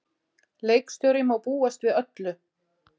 Leikstjóri má búast við öllu.